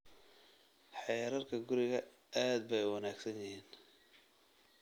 Xeerarka gurigu aad bay u wanaagsan yihiin